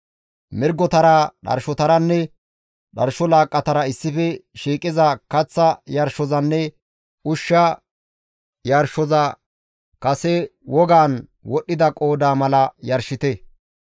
Mirgotara, dharshotaranne dharsho laaqqatara issife shiiqiza kaththa yarshozanne ushsha yarshoza kase wogan wodhdhida qoodaa mala yarshite.